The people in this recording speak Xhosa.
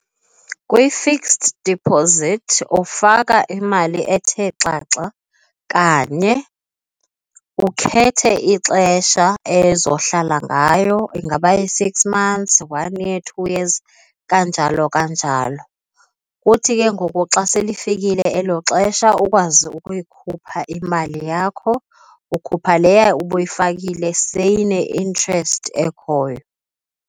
Kwi-fixed deposit ufaka imali ethe xaxa kanye ukhethe ixesha ezohlala ngayo. Ingaba yi-six months, one year, two years kanjalo kanjalo. Kuthi ke ngoku xa selifikile elo xesha ukwazi ukuyikhupha imali yakho, ukhupha leyaa ubuyifakile seyine-interest ekhoyo.